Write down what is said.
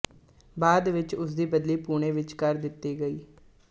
ਬਾਅਦ ਵਿੱਚ ਉਸਦੀ ਬਦਲੀ ਪੂਨੇ ਵਿੱਚ ਕਰ ਦਿੱਤੀ ਗ